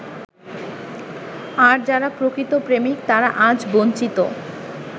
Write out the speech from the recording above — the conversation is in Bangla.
আর যারা প্রকৃত প্রেমিক তারা আজ বঞ্চিত।